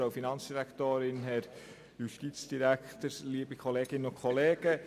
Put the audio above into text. Auch diesen Abänderungsantrag nehmen wir an.